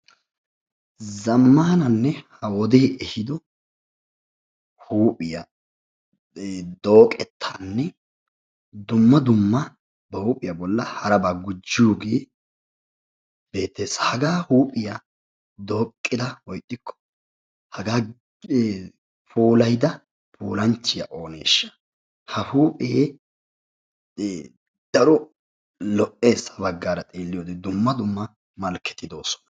Zammaana ha wodee ehiido huuphiya dooqettaanne dumma dumma ba huuphiya bolla harabaa gujjiyoogee beettes. Hagaa huuphiya dooqqida woyi ixxikko hagaa puulayida puulanchchiya ooneeshsha. Ha huuphee ee daro lo"es ha baggaara xeelliyode dumma dumma malkketi de"oosona.